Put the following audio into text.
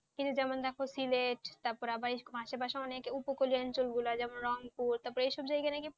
কিন্তু যেমন দেখো সিলেট তারপর আবার মাসে মাসে অনেক উপকল্যাণ অঞ্ছল গুলা যেমন রঙ পুর এই সব যায়গা নাকি